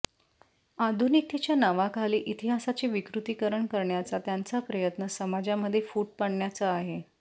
आधुनिकतेच्या नावाखाली इतिहासाचे विकृतीकरण करण्याचा त्यांचा प्रयत्न समाजामध्ये फूट पाडण्याचा आहे